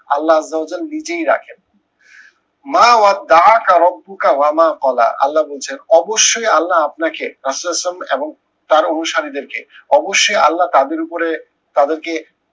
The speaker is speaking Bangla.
আল্লা নজর নিজেই রাখে। মা আল্লা বলছেন অবশ্যই আল্লা আপনাকে ইসলাম এবং তার অনুসারীদের কে অবশ্যই আল্লা তাদের উপরে তাদেরকে